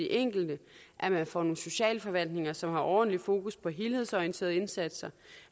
enkelte at man får nogle socialforvaltninger som har ordentligt fokus på helhedsorienterede indsatser